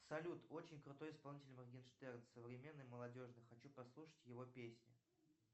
салют очень крутой исполнитель моргенштерн современный молодежный хочу послушать его песни